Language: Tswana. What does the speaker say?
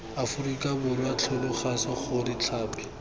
aforika borwa tlhalosa gore tlhapi